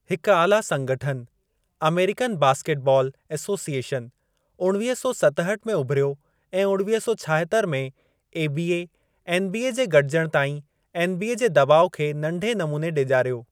हिक आला संगठनु, अमेरिकन बास्केटबॉल एसोसिएशन, उणवीह सौ सतहठि में उभरियो ऐं उणवीह सौ छाहतरि में एबीए-एनबीए जे गॾजण ताईं एनबीए जे दॿाउ खे नंढे नमूने डेॼारियो।